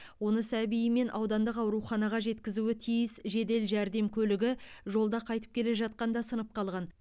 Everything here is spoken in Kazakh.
оны сәбиімен аудандық ауруханаға жеткізуі тиіс жедел жәрдем көлігі жолда қайтып келе жатқанда сынып қалған